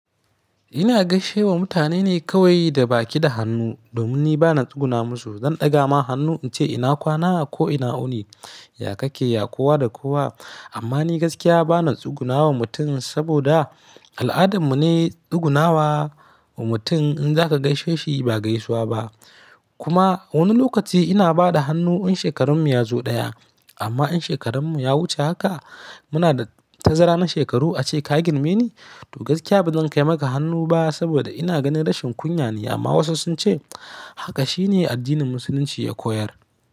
Ina gaishe wa mutane ne kawai da baki da hannu domin ni ba na tsuguna musu. Zan ɗaga ma hannu in ce ina kwana ko ina uni, ya ka ke, ya kowa da kowa. Amma ni gaskiya ba na tsuguna wa mutum saboda al'adarmu ne tsuguna wa mutum in za ka gaishe shi ba gaisuwa ba. Kuma wani lokaci ina ba da hannu in shekarar mu ya zo ɗaya amma in shekarar mu ya wuce haka muna da tazara na shekaru ace ka girmeni to gaskiya ba zan kai maka hannu ba saboda ina ganin rashin kunya ne amma wasu sun ce haka shine addinin Musulunci ya koyar.